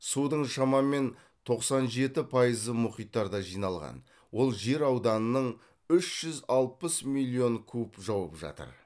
судың шамамен тоқсан жеті пайызы мұхиттарда жиналған ол жер ауданының үш жүз алпыс миллион куб жауып жатыр